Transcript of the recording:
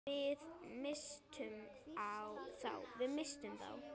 Við misstum þá.